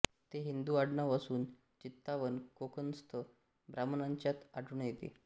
ते हिंदू आडनाव असून चित्पावन कोकणस्थ ब्राम्हणांच्यात आढळून येते